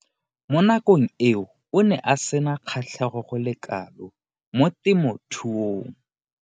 Mo nakong eo o ne a sena kgatlhego go le kalo mo temothuong.